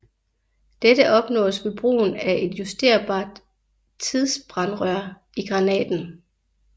Dette opnås ved brug af et justerbart tidsbrandrør i granaten